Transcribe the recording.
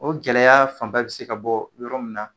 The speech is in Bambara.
O gɛlɛya fan ba bɛ se ka bɔ yɔrɔ min na